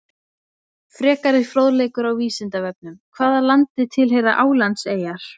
Frekari fróðleikur á Vísindavefnum Hvaða landi tilheyra Álandseyjar?